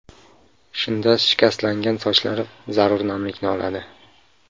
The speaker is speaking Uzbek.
Shunda shikastlangan sochlar zarur namlikni oladi.